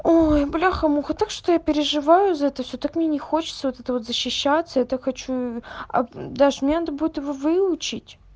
ой бляха-муха так что я переживаю за это всё так мне не хочется вот это вот защищаться это хочу дашь мне надо будет его выучить